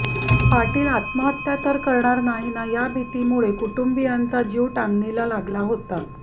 पाटील आत्महत्या तर करणार नाही ना या भीतीमुळे कुटुंबीयांचा जीव टांगणीला लागला होता